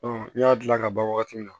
n y'a dilan ka ban wagati min na